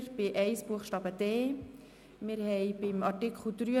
Zu Artikel 83 Absatz 1 Buchstabe d liegt der Antrag Schindler vor.